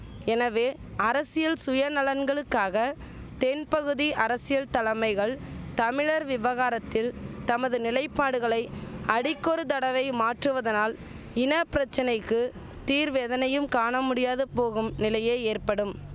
எனவே அரசியல் சுயநலன்களுக்காக தென்பகுதி அரசியல் தலமைகள் தமிழர் விவகாரத்தில் தமது நிலைப்பாடுகளை அடிக்கொரு தடவை மாற்றுவதனால் இன பிரச்சனைக்கு தீர்வெதனையும் காண முடியாது போகும் நிலையே ஏற்படும்